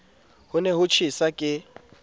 ho ne ho tjhesa ke